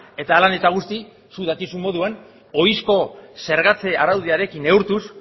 eta hala eta guztiz zuk dakizun moduan ohizko zergatze araudiarekin neurtuz